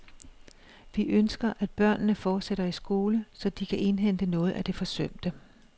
Vi ønsker, at børnene fortsætter i skole, så de kan indhente noget af det forsømte.